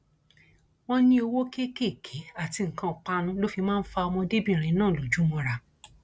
wọn ní owó kéékèèké àti nǹkan ìpanu ló fi máa ń fa ọmọdébìnrin náà lójú mọra